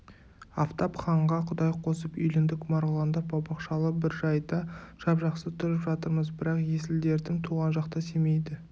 афтап ханға құдай қосып үйлендік марғұланда бау-бақшалы бір жайда жап-жақсы тұрып жатырмыз бірақ есіл-дертім туған жақта семейді